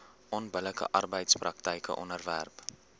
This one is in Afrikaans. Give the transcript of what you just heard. onbillike arbeidspraktyke onderwerp